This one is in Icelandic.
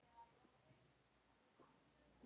Það er eins og gengur.